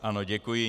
Ano, děkuji.